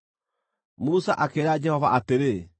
Musa akĩĩra Jehova atĩrĩ,